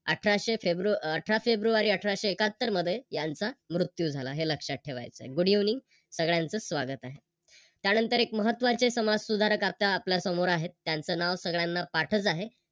अठराशे फेब्रुवारी अठरा फेब्रुवारी अठराशे एकाहत्तर मध्ये यांचा मृत्यू झाला हे लक्षात ठेवायच आहे. Good evening सगळ्यांच स्वागत आहे. त्यानंतर एक महत्त्वाचे समाजसुधारक आता आपल्या समोर आहे त्यांच नाव सगळ्यांना पाठच आहे